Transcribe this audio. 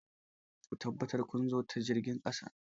Ku tabbata kun zo ta jirgin ƙasa!